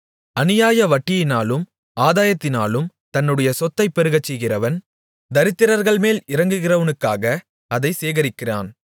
அநியாய வட்டியினாலும் ஆதாயத்தினாலும் தன்னுடைய சொத்தைப் பெருகச்செய்கிறவன் தரித்திரர்கள்மேல் இரங்குகிறவனுக்காக அதைச் சேகரிக்கிறான்